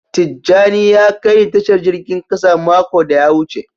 Tijani ne ya kai ni Tashar jirgin kasa mako da ya wuce.